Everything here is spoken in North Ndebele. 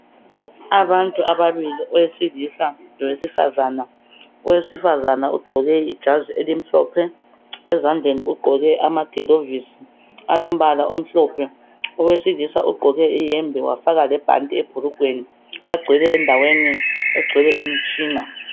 Abantu ababili, oyedwa owesilisa loyedwa owesifazana. Owesifazana ugqoke ijazi elimhlophe ezandleni ugqoke amagilovisi alombala omhlophe, owesilisa ugqoke iyembe wafaka lebhanti ebhulugweni. Bagcwele endaweni egcwele imitshina.